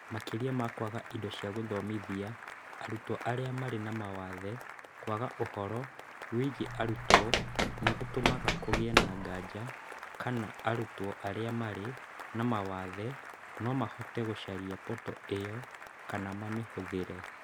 Makĩria ma kwaga indo cia gũthomithia arutwo arĩa marĩ na mawathe, kwaga ũhoro wĩgiĩ arutwo nĩ gũtũmaga kũgĩe na nganja kana arutwo arĩa marĩ na mawathe no mahote gũcaria portal ĩyo, kana mamĩhũthĩre.